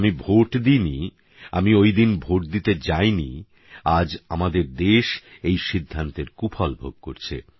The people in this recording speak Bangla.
আমি ভোট দিইনি আমি ওই দিন ভোট দিতে যাইনি আজ আমাদের দেশ এই সিদ্ধান্তের কুফল ভোগ করছে